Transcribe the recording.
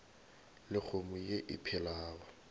le kgomo ye e phelago